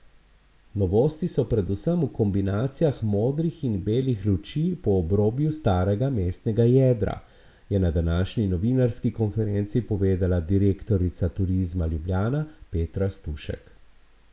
Novosti so predvsem v kombinacijah modrih in belih luči po obrobju starega mestnega jedra, je na današnji novinarski konferenci povedala direktorica Turizma Ljubljana Petra Stušek.